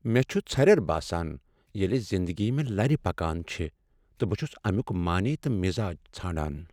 مےٚ چُھ ژھریر باسان ییٚلہ زنٛدگی مےٚ لرِ پكان چھِ تہٕ بہٕ چھس اَمِیُک معنے تہٕ مزاج ژھانٛڈان۔